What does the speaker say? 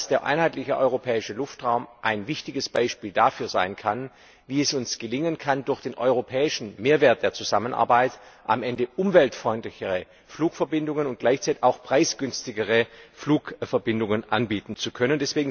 Der Einheitliche Europäische Luftraum kann ein wichtiges Beispiel dafür sein, wie es uns gelingen kann, durch den europäischen Mehrwert der Zusammenarbeit am Ende umweltfreundlichere und gleichzeitig auch preisgünstigere Flugverbindungen anbieten zu können.